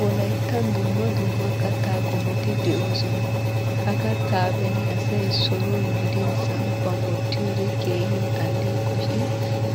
Wolayttan dumma dumma kattaa qommoti de'oosona. Ha kattaa beni asay soruwan gidin samppan wottiyoode keehin alleeqo shin